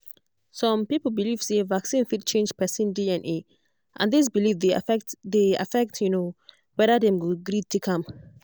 some people believe say vaccine fit change person dna and this belief dey affect dey affect um whether dem go gree take am.